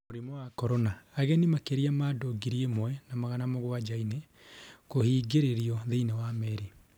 Mũrimũ wa Korona: Ageni makĩria ma andu ngĩri imwe na magana mũgwanjanĩ kubingĩrĩrio thĩiniĩ wa merĩ